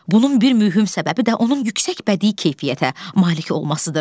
Bunun bir mühüm səbəbi də onun yüksək bədii keyfiyyətə malik olmasıdır.